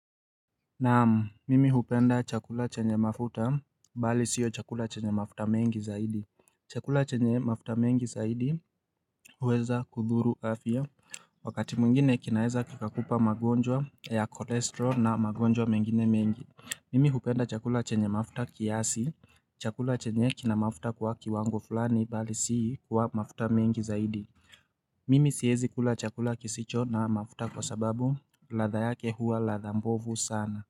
Naam mimi hupenda chakula chenye mafuta bali sio chakula chenye mafuta mengi zaidi Chakula chenye mafuta mengi zaidi huweza kudhuru afya Wakati mwingine kinaeza kikakupa magonjwa ya kolesterol na magonjwa mengine mengi Mimi hupenda chakula chenye mafuta kiasi chakula chenye kina mafuta kwa kiwango fulani bali sio kwa mafuta mengi zaidi Mimi sihezi kula chakula kisicho na mafuta kwa sababu ladha yake huwa ladha mbovu sana.